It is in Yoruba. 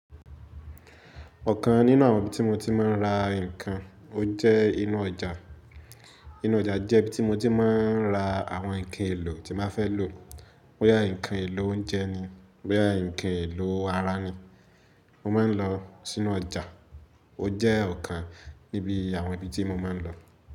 Ọ̀kan nínú àwọn ibi tí mo ti máa ń ra nǹkan, ó jẹ́ inú ọjà. Inú ọjà jẹ́ ibi tí mo ti máa ń ra àwọn nǹkan èlò tí máa fẹ́ lò. Bóyá nǹkan èlò oúnjẹ ni, bóyá nǹkan èlò ara ni, mo máa ń lọ sínú ọjà. Ó jẹ́ ọ̀kan níbi àwọn ibi tí mo máa ń lọ.